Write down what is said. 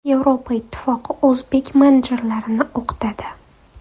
Yevropa Ittifoqi o‘zbek menejerlarini o‘qitadi.